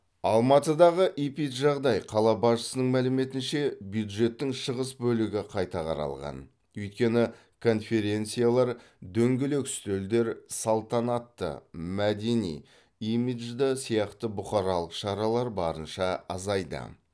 алматыдағы эпиджағдай қала басшысының мәліметінше бюджеттің шығыс бөлігі қайта қаралған өйткені конференциялар дөңгелек үстелдер салтанатты мәдени имиджді сияқты бұқаралық шаралар барынша азайды